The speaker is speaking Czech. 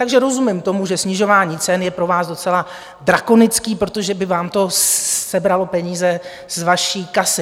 Takže rozumím tomu, že snižování cen je pro vás docela drakonické, protože by vám to sebralo peníze z vaší kasy.